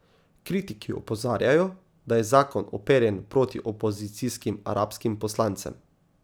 Kritiki opozarjajo, da je zakon uperjen proti opozicijskim arabskim poslancem.